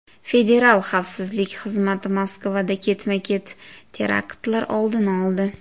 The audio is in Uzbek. Federal xavfsizlik xizmati Moskvada ketma-ket teraktlar oldini oldi.